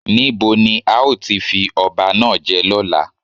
Ní bo ni a ó ti fi ọba náà jẹ lọ́la?